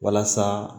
Walasa